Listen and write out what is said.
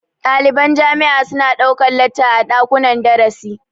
Ɗaliban jami'a su na ɗaukan lacca a ɗakunnan darasi